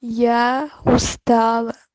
я устала